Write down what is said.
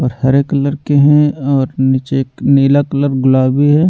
और हरे कलर के हैं और नीचे एक नीला कलर गुलाबी है।